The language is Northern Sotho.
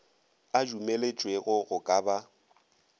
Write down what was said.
a dumelwetšego go ka ba